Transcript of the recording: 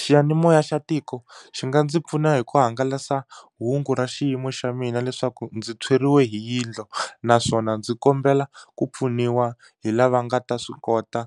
Xiyanimoya xa tiko xi nga ndzi pfuna hi ku hangalasa hungu ra xiyimo xa mina leswaku ndzi tshweriwe hi yindlu naswona ndzi kombela ku pfuniwa hi lava nga ta swi kota